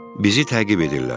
Bizi təqib edirlər.